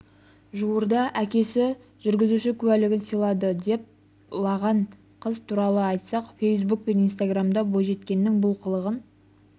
жуырда әкесі жүргізуші куәлігін сыйлады деп лаған қыз туралы айтсақ фейсбук пен инстаграмдарда бойжеткеннің бұл қылығын